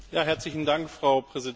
Frau Präsidentin!